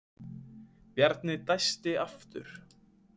Bjarni dæsti aftur.